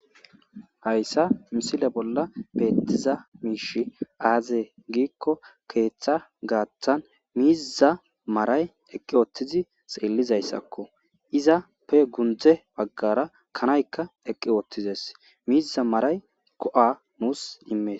Hayssa misile bolla beettiza miish aaze giikko keeththa gaatan miiza maray eqqi oottizi xeellizayssakko iza pe gundze baggara kanaykka eqqi oottizes miiza maray ko.a nuus immees